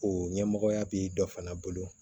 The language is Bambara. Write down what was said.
O ɲɛmɔgɔya bi dɔ fana bolo